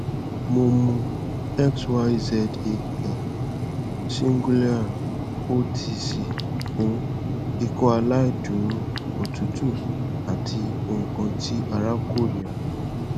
mo mu xyzal singulair otc fun ikọaláìdúró otutu ati nkan ti ara korira